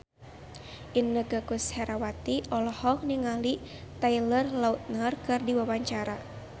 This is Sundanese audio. Inneke Koesherawati olohok ningali Taylor Lautner keur diwawancara